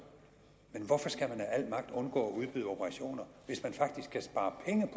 men hvorfor skal man af al magt undgå at udbyde operationer hvis man faktisk kan spare penge